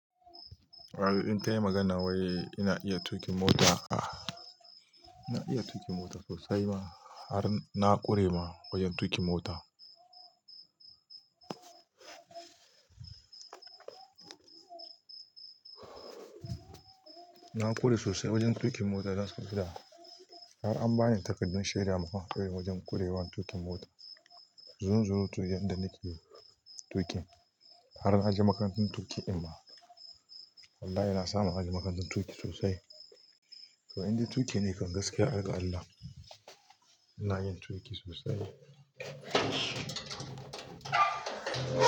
In ta yi magana wai ina iya tuƙin mota. Ina iya tuƙin mota sosai ma har na ƙure ma wajen tuƙin mota. Na ƙure sosai wajen tuƙin mota, zan so ka ji da har an bani takardun shaidar ma fa irin wajen ƙurewan tuƙin mota. Zunzurutu yan da nake tuƙin har na je makarantun tuƙi dimma wallahi na samu ne⁴aji makarantun tuƙi sosai. To inda tuƙi ne kan gaskiya, ai ga allah. Ina yin tuƙi sosai.